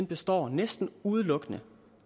består næsten udelukkende